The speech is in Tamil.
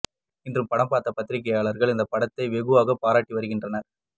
இன்று படம் பார்த்த பத்திரிகையாளர்கள் இந்த படத்தை வெகுவாகப் பாராட்டி வருகின்றனர்